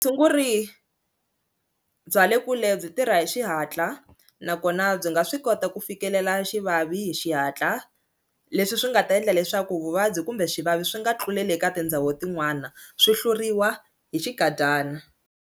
Vutshunguri bya le kule byi tirha hi xihatla nakona byi nga swi kota ku fikelela xivavi hi xihatla leswi swi nga ta endla leswaku vuvabyi kumbe swivavi swi nga tluleli eka tindhawu tin'wana swi hluriwa hi xinkadyana.